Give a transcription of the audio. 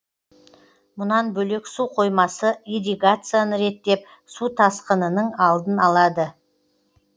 мұнан бөлек су қоймасы ирригацияны реттеп су тасқынының алдын алады